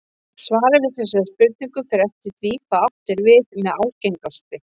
Svarið við þessari spurningu fer eftir því hvað átt er við með algengasti.